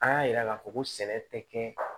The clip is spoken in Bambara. An y'a yira k'a fɔ ko sɛnɛ tɛ kɛ